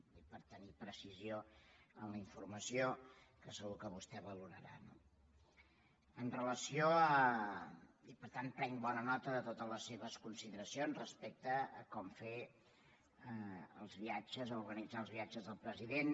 ho dic per tenir precisió en la informació que segur que vostè valorarà no i per tant prenc bona nota de totes les seves consideracions respecte a com fer els viatges o organitzar els viatges del president